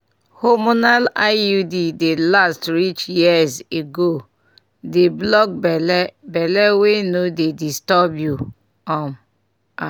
hormonal iud dey last reach years ego dey block belle belle wey no dey disturb you um ah!